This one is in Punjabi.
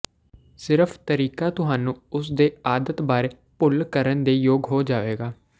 ਸਿਰਫ ਤਰੀਕਾ ਤੁਹਾਨੂੰ ਉਸ ਦੇ ਆਦਤ ਬਾਰੇ ਭੁੱਲ ਕਰਨ ਦੇ ਯੋਗ ਹੋ ਜਾਵੇਗਾ